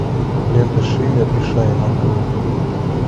лента шиммер и шайн открой